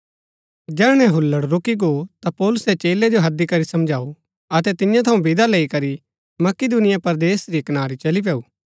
जैहणै हुल्लड़ रूकी गो ता पौलुसै चेलै जो हैदी करी समझाऊ अतै तियां थऊँ विदा लैई करी मकिदुनिया परदेस री कनारी चली पैऊ